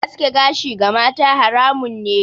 Aske gashi ga mata haramun ne.